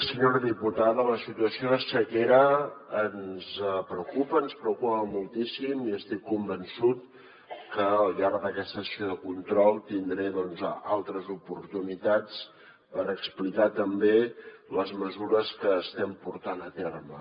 senyora diputada la situació de sequera ens preocupa ens preocupa moltíssim i estic convençut que al llarg d’aquesta sessió de control tindré altres oportunitats per explicar també les mesures que estem portant a terme